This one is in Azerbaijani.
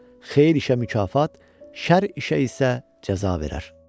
O xeyir işə mükafat, şər işə isə cəza verər.